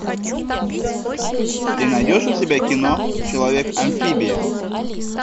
ты найдешь у себя кино человек амфибия